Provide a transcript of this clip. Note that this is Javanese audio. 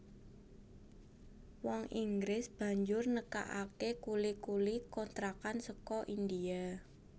Wong Inggris banjur nekakaké kuli kuli kontrakan saka India